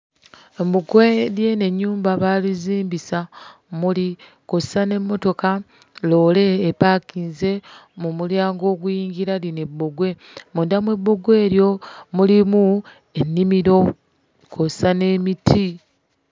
Ebbugwe ly'eno ennyumba baalizimbisa mmuli. Kw'ossa n'emmotoka loole epaakinze mu mulyango oguyingira lino ebbugwe. Munda mu bbugwe eryo mulimu ennimiro kw'ossa n'emiti.